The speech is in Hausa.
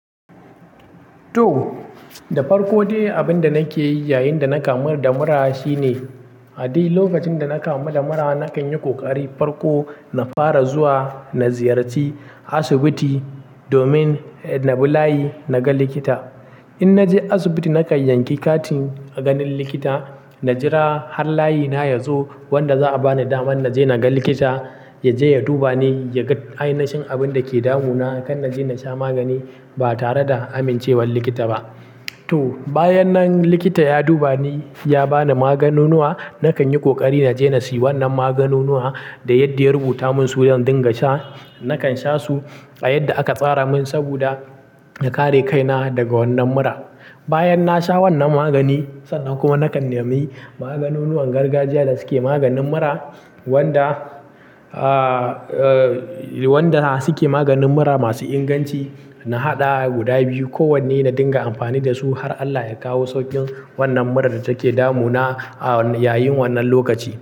To, da farko dai abin da nake yi yayin da na kamu da mura shine, a dai lokacin da na kamu da mura nakan yi ƙoƙari farko na fara zuwa na ziyarci asibiti domin na bi layi na ga likita. In na je asibiti, na kan yanke katin ganin likita, na jira har layi na ya zo wanda za'a bani damar na je na ga likita, ya je ya duba ni, ya ga ainihin abin da ke damu na kan na je na sha magani ba tare da amincewar likita ba. To, bayan nan likita ya duba ni, ya ba ni maganunuwa, na kan yi ƙoƙari na je na sayi wannan maganunuwa da yadda ya rubuta mun su don dinga sha. Nakan shasu a yadda aka tsaramin saboda in kare kaina daga wannan mura. Bayan na sha wannan magani, sannan kuma na kan nemi maganunuwan gargajiya da suke maganin mura wanda, ah, eh, wanda suke maganin mura masu inganci. Na haɗa guda biyu kowanne na dinga amfani da su har Allah ya kawo sauƙin wannan murar da take damu na, ah, yayin wannan lokaci.